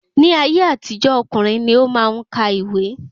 Ní ayé àtijó, ọkùnrin ni o maá n kà ìwé